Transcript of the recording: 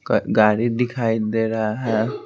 गाड़ी दिखाई दे रहा है।